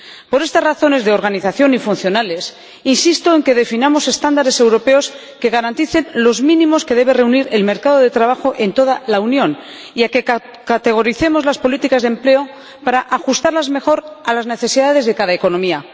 Por estas razones de organización y funcionales, insisto en que definamos estándares europeos que garanticen los mínimos que debe reunir el mercado de trabajo en toda la Unión y en que categoricemos las políticas de empleo para ajustarlas mejor a las necesidades de cada economía.